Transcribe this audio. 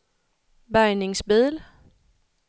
bärgningsbil